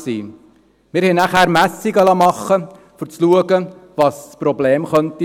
Wir liessen dann Messungen machen, um zu schauen, was das Problem sein könnte.